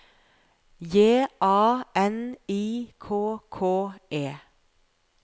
J A N I K K E